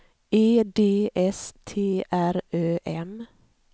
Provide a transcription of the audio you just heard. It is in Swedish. E D S T R Ö M